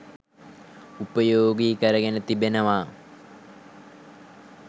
උපයෝගී කරගෙන තිබෙනවා.